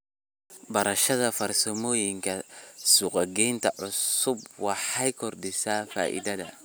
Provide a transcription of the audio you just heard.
Barashada farsamooyinka suuq-geynta cusub waxay kordhisaa faa'iidada.